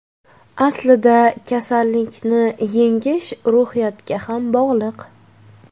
Aslida kasallikni yengish ruhiyatga ham bog‘liq.